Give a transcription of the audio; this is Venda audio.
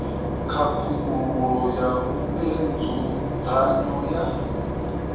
khakhululo ya vhue nzudzanyo ya